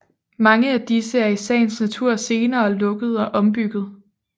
Mange er disse er i sagens natur senere lukket og ombygget